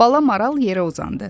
Bala maral yerə uzandı.